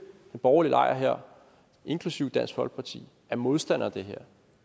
borgerlige lejr her inklusive dansk folkeparti er modstander af det her